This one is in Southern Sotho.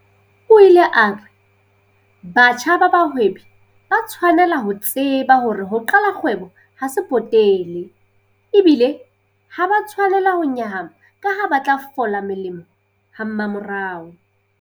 O ile a re batjha ba bahwebi ba tshwanela ho tseba hore ho qala kgwebo ha se potele, ebile ha ba a tshwanela ho nyahama kaha ba tla fola molemo hamamorao.